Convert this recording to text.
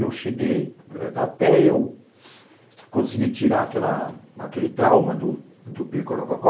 Eu cheguei... Até eu conseguir tirar aquele trauma do pirco rococó,